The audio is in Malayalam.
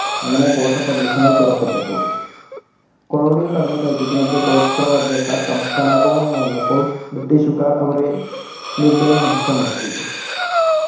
അങ്ങനെ ഗോത്രപ്രദേശങ്ങൾ തുറക്കപ്പെട്ടു colonial കടന്നുകയറ്റത്തിനെതിരെ ഗോത്രവർഗ്ഗക്കാർ കപ കലാപവുമായി വന്നപ്പോൾ british കാർ അവരെ നിർദയം അടിച്ചമർത്തി